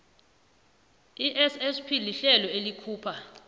issp lihlelo elikhupha